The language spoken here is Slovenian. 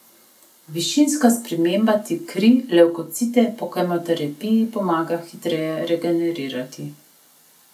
Višinska sprememba ti kri, levkocite po kemoterapiji pomaga hitreje regenerirati.